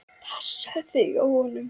Passaðu þig á honum.